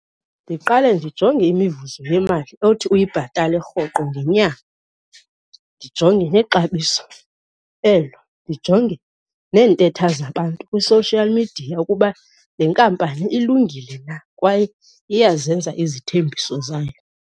Ndiqale ndijonge imivuzo yemali othi uyibhatale rhoqo ngenyanga, ndijonge nexabiso elo, ndijonge neentetha zabantu kwi-social media ukuba le nkampani ilungile na kwaye iyazenza izithembiso zayo.